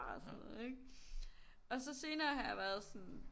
Og sådan noget ikke og så senere har jeg været sådan